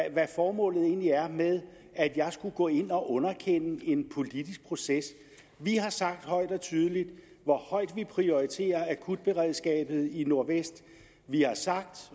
ikke hvad formålet egentlig er med at jeg skulle gå ind og underkende en politisk proces vi har sagt højt og tydeligt hvor højt vi prioriterer akutberedskabet i nordvest vi har sagt